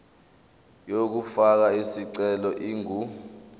yokufaka isicelo ingu